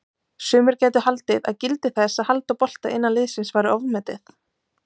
Sumir gætu haldið að gildi þess að halda bolta innan liðsins væri ofmetið?